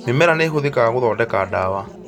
Mĩmera nĩ ĩhũthĩkaga gũthondeka dawa